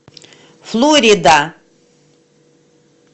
флорида